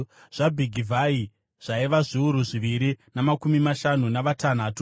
zvaBhigivhai zvaiva zviuru zviviri namakumi mashanu navatanhatu;